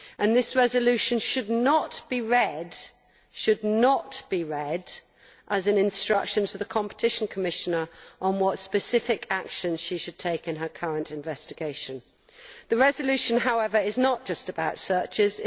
This resolution should not be read as an instruction to the Competition Commissioner on what specific actions she should take in her current investigation. The resolution, however, is not just about searches